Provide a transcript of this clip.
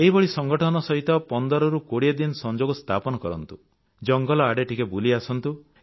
ଏହିଭଳି ସଂଗଠନ ସହିତ 15 ରୁ 20 ଦିନ ସଂଯୋଗ ସ୍ଥାପନ କରନ୍ତୁ ଜଙ୍ଗଲ ଆଡ଼େ ଟିକେ ବୁଲି ଆସନ୍ତୁ